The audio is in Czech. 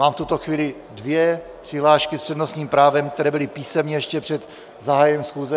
Mám v tuto chvíli dvě přihlášky s přednostním právem, které byly písemně ještě před zahájením schůze.